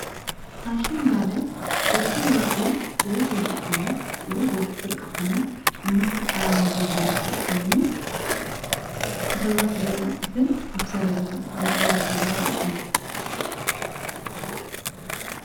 ፋሽን ማለት በብ ወርሒ ወይ በብ ዓመት ወይ በብ ፍርቃ ዓመት እናተ ቀይየረ ዘመጽእ ኾይኑ ተኸሪናት ዘላ ጥልፍን ኣሣረ ገራተ ዘላ ወርቅን አዩ ::